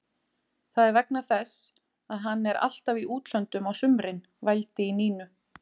Það er vegna þess að hann er alltaf í útlöndum á sumrin, vældi í Nínu.